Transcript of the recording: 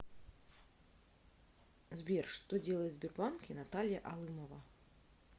сбер что делает в сбербанке наталья алымова